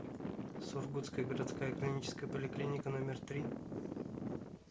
сургутская городская клиническая поликлиника номер три